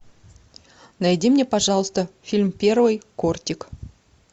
найди мне пожалуйста фильм первый кортик